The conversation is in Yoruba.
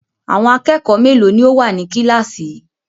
Àwọn akẹ́kọ̀ọ́ mélòó ni ó wà ní kíláàsì yìí?